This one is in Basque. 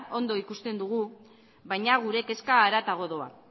ondo ikusten dugu baina gure kezka haratago doa